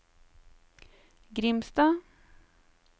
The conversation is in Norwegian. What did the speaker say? Grimstad